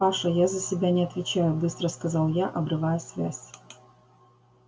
паша я за себя не отвечаю быстро сказал я обрывая связь